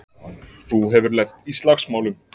Þú hefur lent í slagsmálum!